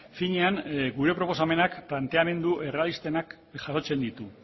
finean gure proposamenak planteamendu errealistenak jasotzen ditu